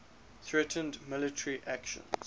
threatened military actions